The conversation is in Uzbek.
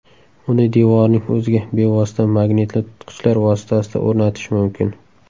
Uni devorning o‘ziga bevosita magnitli tutqichlar vositasida o‘rnatish mumkin.